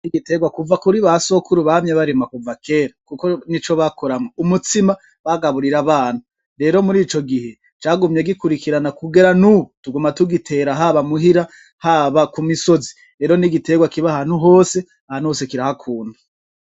Igitegwa kuva kuri basokuru bamye barima kuva kera kuko nico bakoramwo umutsima bagaburira abana rero murico gihe cagumye gikurikirana kugera nubu tuguma tugitera haba muhira, haba ku misozi rero n'igitegwa kiba ahantu hose ahantu hose kirahakunda.